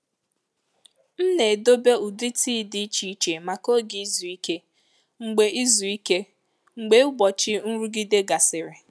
M na-edobe ụdị tii dị iche iche maka oge izu ike mgbe izu ike mgbe ụbọchị nrụgide gasịrị.